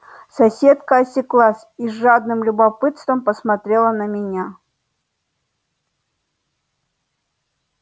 соседка осеклась и с жадным любопытством посмотрела на меня